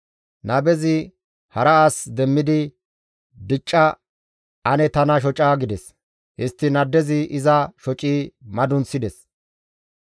Nabezi hara as demmidi, «Dicca ane tana shoca» gides. Histtiin addezi iza shoci madunththides.